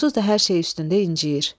Onsuz da hər şey üstündə incəyir.